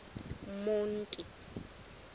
monti